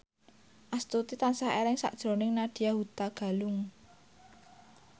Astuti tansah eling sakjroning Nadya Hutagalung